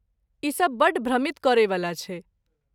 ई सब बड्ड भ्रमित करैवला छै।